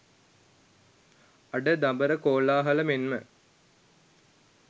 අඩ දබර කලකෝලාහල මෙන්ම